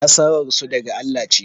Nasarar su daga Allah ce